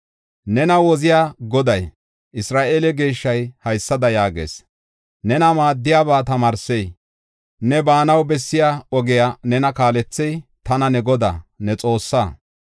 Nena woziya Goday, Isra7eele Geeshshay haysada yaagees: “Nena maaddiyaba tamaarsey ne baanaw bessiya ogiya ne kaalethey, tana ne Godaa, ne Xoossaa.